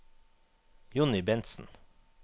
Jonny Bentsen